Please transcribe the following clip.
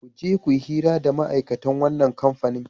Ku je ku yi hira da ma'aikatan wannan kamfani.